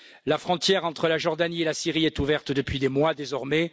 La frontière entre la Jordanie et la Syrie est ouverte depuis des mois, désormais.